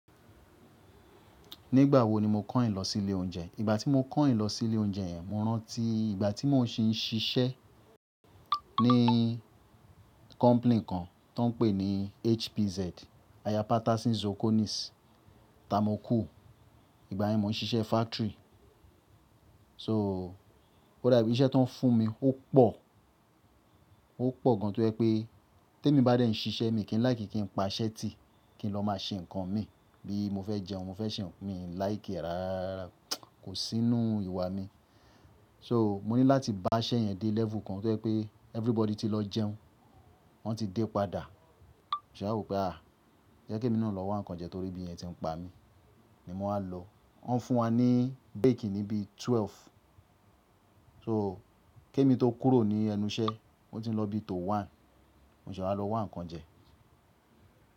Nígbà wo ni mo kayin lọ sí ilé oúnjẹ? Ìgbà tí mo kàyin lọ sí ilé oúnjẹ yẹn, mo rántí ìgbà tí mò ń ṣíṣẹ́ ní company kan tó ń pè ní HPZ, Aya Patasin Zokonis, ta mo kù. Ìgbà yẹn mò ń ṣiṣẹ́ factory. So, ọ́ dàbí iṣẹ́ tó ń fún mi ó pọ̀, ó pọ̀ gan-an tó jẹ pé temi bá dẹ́ n ṣiṣẹ́ mi kí n láìkí ki n pa iṣẹ́ ti, kí n lọ máa ṣe nǹkan mi bí mo fẹ́ jẹun, mo fẹ́ ṣe ohun mi làìki e rara, kò sí nínú ìwà mi. So, mo ní láti bá isẹ́ yẹn dé level kan tó jẹ pé everybody ti lọ jẹun, wọn ti dé padà. Mo se n wo pé à, jẹ́ kí èmi náà lọ wá nǹkan jẹ torí ebí yen ti ń pa mí ni mo máa lọ. Wọ́n ń fún wa ní break níbí 12. So, kí èmi tó kúrò ní ẹnu iṣẹ́, ó ti ń lọ bí i tó 1, mo se wá lo wa nǹkan jẹ.